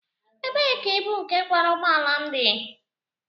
Ebee ka ibu nke kwara ụgbọ ala m dị?